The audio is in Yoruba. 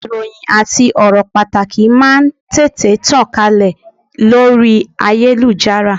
Ìròhìn àti ọ̀rọ̀ pàtàkì máà ń tètè tàn kálẹ̀ lórí ayélujára.